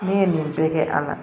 Ne ye nin bɛɛ kɛ a la